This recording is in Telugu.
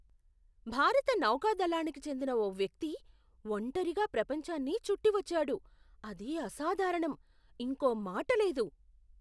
భారత నౌకాదళానికి చెందిన ఓ వ్యక్తి ఒంటరిగా ప్రపంచాన్ని చుట్టివచ్చాడు. అది అసాధారణం, ఇంకో మాట లేదు!